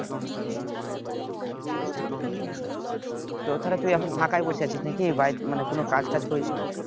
তো তাহলে তুই এখন ফাঁকাই বসে আছিস নাকি বাড়িতে মানে কোন কাজ টাজ করিস না